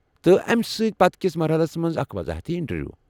تہِ امہِ پتہٕ كِس مرحلس منز اکھ وضاحتی انٹروِیُو ۔